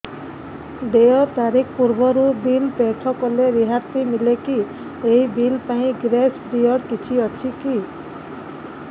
ଦେୟ ତାରିଖ ପୂର୍ବରୁ ବିଲ୍ ପୈଠ କଲେ ରିହାତି ମିଲେକି ଏହି ବିଲ୍ ପାଇଁ ଗ୍ରେସ୍ ପିରିୟଡ଼ କିଛି ଅଛିକି